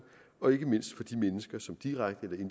og ikke mindst for de mennesker som direkte